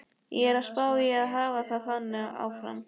Ég er að spá í að hafa það þannig áfram.